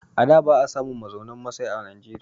A da ba a samun mazaunin masai a Najeriya.